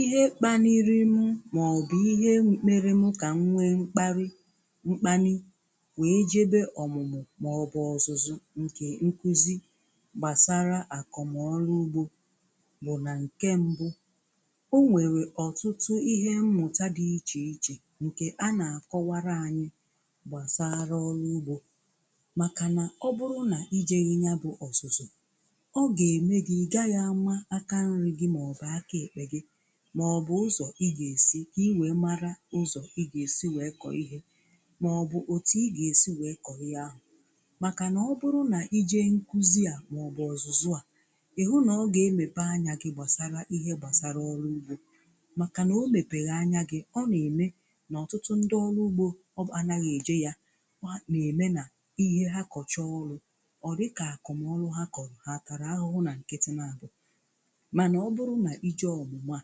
Ihe kpaniri m maọbụ ihe mere m ka m nwee mkpali mkpani wee jebe ọmụmụ maọbụ ọzụzụ nke nkụzi gbasara akọm ọrụ ugbo bụ na nke mbụ; o nwere ọtụtụ ihe mmụta dị iche iche nke a na-akọwara anyị gbasara ọrụ ugbo, makana ọ bụrụ na i jeghị ya bụ ọzụzụ, ọ ga-eme gị ị gaghị ama aka nri gị maọbụ aka ekpe gị maọbụ ụzọ ị ga-esi ka ị wee mara ụzọ ị ga-esi wee kọọ ihe maọbụ otu ị ga-esi wee kọọ ihe ahụ makana ọ bụrụ na i jee nkụzi a maọbụ ọzụzụ a, ị hụ na ọ ga-emepe anya gị gbasara ihe gbasara ọrụ ugbo makana ọ mepeghi anya gị, ọ na-eme na ọtụtụ ndị ọrụ ugbo anaghị eje ya kwa na-eme na ihe ha kọchaa ọrụ ọ dịka akomọrụ ha kọrọ ha atara ahụhụ na nkịtị n'abọ. Mana ọ bụrụ na i jee ọmụmụ a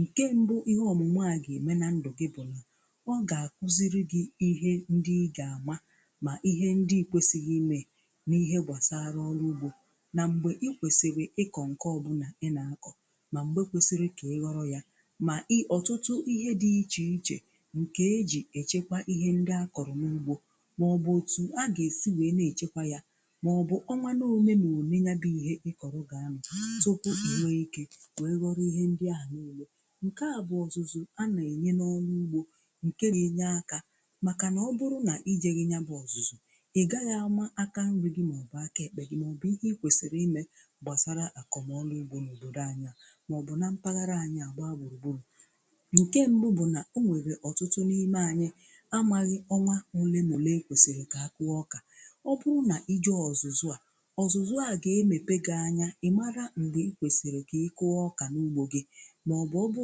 nke mbụ ihe ọmụmụ a ga-eme na ndụ gị bụ na ọ ga-akụziri gị ihe ndị ị ga-eme ma ihe ndị ị kwesịghị ime n'ihe gbasara ọrụ ugbo na mgbe ị kwesịrị ịkọ nke ọbụna ị na-akọ ma mgbe kwesịrị ka ị ghọrọ ya ma ị ọtụtụ ihe dị iche iche nke eji echekwa ihe ndị akọrọ n'ugbo maọbụ otu a ga-esi wee na-echekwa ya maọbụ ọnwa na ole na ole ya bụ ihe ị kọrọ ga-anọ tupu e nwee ike wee ghọrọ ihe ndị a niile. Nke a bụ ọzụzụ a na-enye n'ọrụ ugbo nke na-enye aka makana ọ bụrụ na i jeghị ya bụ ọzụzụ ị gaghị ama aka nri gị maọbụ aka ekpe gị maọbụ ihe ị kwesịrị ime gbasara akomọrụ ugbo n'obodo anyị maọbụ na mpaghara anyị a gbaa gburugburu. Nke mbụ bụ na ọ nwere ọtụtụ n'ime anyị amaghị ọnwa ole na ole e kwesịrị ka a kụọ ọka. Ọ bụrụ na i jee ọzụzụ a, ọzụzụ a ga-emepe gị anya ị mara mgbe ị kwesịrị ka ị kụọ ọka n'ugbo gị maọbụ ọ bụ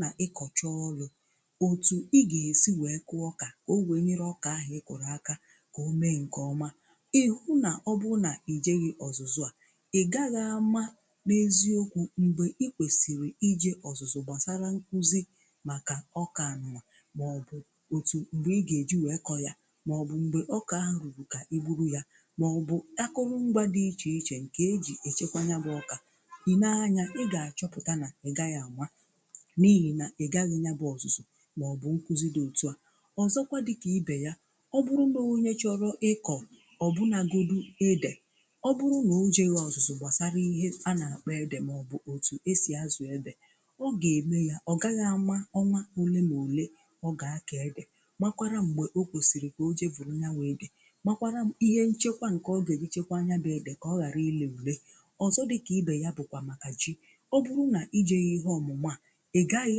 na ịkọcha ọrụ otu ị ga-esi wee kụ ọka ka ọ wee nyere ọka ahụ ị kụrụ aka ka ọ mee nke ọma. Ị hụ na ọ bụ na i jeghị ọzụzụ a, ị gaghị ama n'eziokwu mgbe ị kwesịrị ije ọzụzụ gbasara nkụzi maka ọka nụñwa maọbụ otu mgbe ị ga-eji wee kọọ ya maọbụ mgbe ọka ahụ ruru ka i gburu ya maọbụ akụrụngwa dị iche iche nke eji echekwa ya bụ ọka. i nee anya, ị ga-achọpụta na ị gaghị ama n'ihi na ị gaghị ya bụ ọzụzụ maọbụ nkụzi dị otu a. Ọzọkwa dịka ibe ya, ọ bụrụ na onye chọrọ ịkọ ọbụnagodu ede ọ bụrụ na o jeghị ọzụzụ gbasara ihe a na-akpọ ede maọbụ otu esi ázụ̀ ede, ọ ga-eme ya ọ gaghị ama ọnwa ole na ole ọ ga-akọ ede makwara mgbe ọ kwesịrị ka o jee vụrụ ya bụ ede makwara ihe nchekwa nke ọ ga-eji chekwaa ya bụ ede ka ọ ghara ire ure. Ọzọ dịka ibe ya bụkwa maka Ji. Ọ bụrụ na i jeghị ihe ọmụmụ a ị gaghị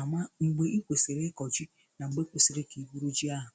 ama mgbe ị kwesịrị ịkọ ji na mgbe kwesịrị ka i gburu ji ahụ.